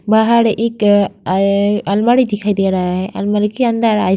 बाहर एक अ ए अलमारी दिखाई दे रहा है। अलमारी के अंदर --